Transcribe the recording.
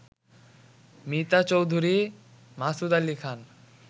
Mita Chowdhury, Masud Ali Khan